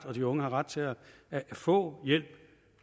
og de unge har ret til at få hjælp